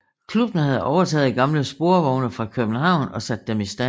Klubben havde overtaget gamle sporvogne fra København og sat dem i stand